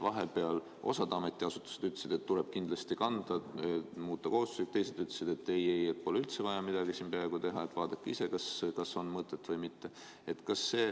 Vahepeal osa ametiasutusi ütles, et tuleb kindlasti kanda, muuta kohustuslikuks, teised ütlesid, et ei, pole üldse vaja peaaegu midagi teha, mõelge ise, kas on mõtet või mitte.